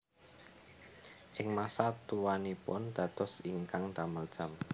Ing masa tuanipun dados ingkang damel jam